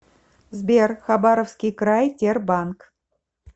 сбер хабаровский край тербанк